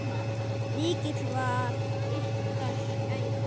Mikil var ykkar gæfa.